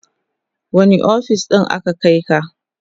wani ofis aka Kai ka?